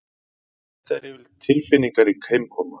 Þetta er yfirleitt tilfinningarík heimkoma